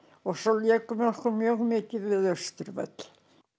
og svo lékum við okkur mjög mikið við Austurvöll